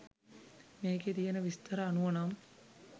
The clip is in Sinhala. මේකේ තියන විස්තර අනුව නම්